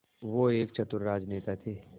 वो एक चतुर राजनेता थे